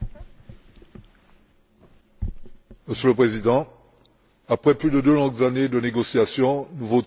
Monsieur le Président, après plus de deux longues années de négociations, nous votons enfin ce règlement sur la politique de cohésion.